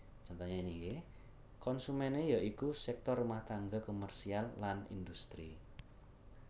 Konsumené ya iku sektor rumah tangga komersial lan industri